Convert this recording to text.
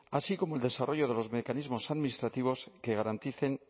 así como el desarrollo de los mecanismos administrativos que garanticen